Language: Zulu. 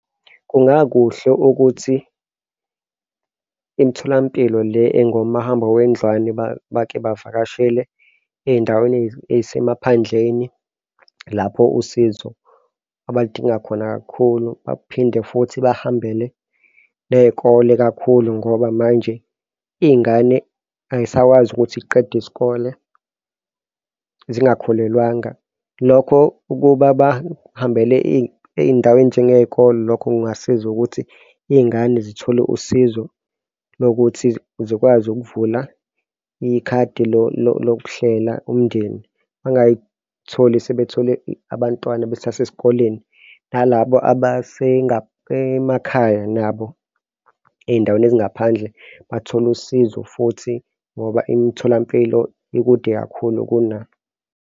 Kungakuhle ukuthi imitholampilo le engomahambanendlwane bake bavakashele ey'ndaweni ey'semaphandleni, lapho usizo abaludinga khona kakhulu baphinde futhi bahambele ney'kole kakhulu ngoba manje iy'ngane ay'sakwazi ukuthi y'qede isikole zingakhulelwanga, lokho ukuba bahambele ey'ndaweni njengey'kole. Lokho kungasiza ukuthi iy'ngane zithole usizo lokuthi zikwazi ukuvula ikhadi lokuhlela umndeni bangay'tholi sebethole abantwana besase sikoleni nalabo abase emakhaya nabo ey'ndaweni ezingaphandle bathole usizo futhi ngoba imitholampilo ikude kakhulu kunabo.